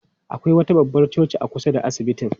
Akwai wata babbar coci a kusa da asibitin.